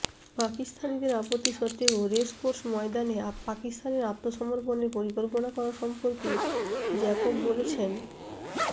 পাকিস্তানিদের আপত্তি সত্বেও রেসকোর্স ময়দানে পাকিস্তানের আত্মসমর্পণের পরিকল্পনা করা সম্পর্কে জ্যাকব বলেছেনঃ